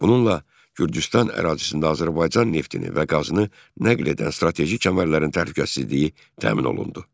Bununla Gürcüstan ərazisində Azərbaycan neftini və qazını nəql edən strateji kəmərlərin təhlükəsizliyi təmin olundu.